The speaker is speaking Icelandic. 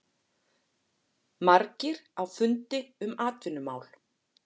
Margir á fundi um atvinnumál